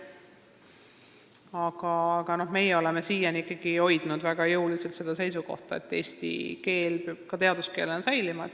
Aga meie oleme siiani ikkagi väga jõuliselt hoidnud kinni sellest seisukohast, et eesti keel peab ka teaduskeelena säilima.